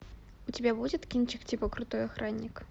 у тебя будет кинчик типа крутой охранник